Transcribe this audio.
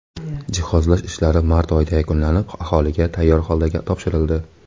Jihozlash ishlari mart oyida yakunlanib, aholiga tayyor holda topshirildi.